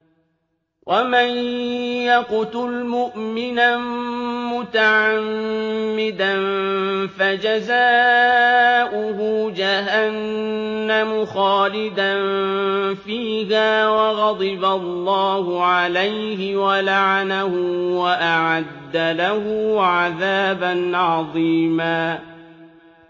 وَمَن يَقْتُلْ مُؤْمِنًا مُّتَعَمِّدًا فَجَزَاؤُهُ جَهَنَّمُ خَالِدًا فِيهَا وَغَضِبَ اللَّهُ عَلَيْهِ وَلَعَنَهُ وَأَعَدَّ لَهُ عَذَابًا عَظِيمًا